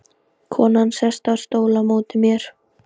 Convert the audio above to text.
Konan sest á stól á móti mér.